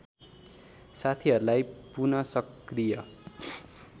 साथीहरूलाई पुनःसकृय